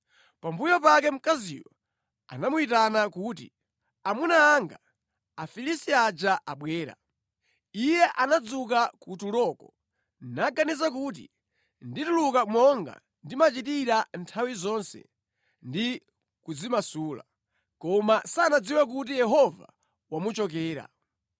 Pambuyo pake mkaziyo anamuyitana kuti, “Amuna anga, Afilisti aja abwera!” Iye anadzuka kutuloko, naganiza kuti, “Ndituluka monga ndimachitira nthawi zonse ndi kudzimasula.” Koma sanadziwe kuti Yehova wamuchokera.